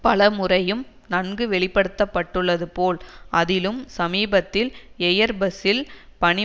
பல முறையும் நன்கு வெளி படுத்த பட்டுள்ளது போல் அதிலும் சமீபத்தில் எயர்பஸ்ஸில் பணி